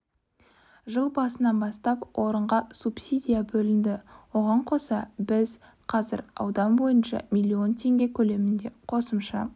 жыл басынан бастап орынға субсидия бөлінді оған қоса біз қазір аудан бойынша миллион теңге көлемінде қосымша